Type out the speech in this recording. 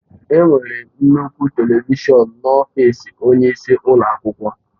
Enwere nnukwu telivishọn n'ọfịs onyeisi ụlọ akwụkwọ.